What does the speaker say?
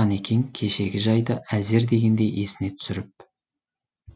қанекең кешегі жайды әзер дегенде есіне түсіріп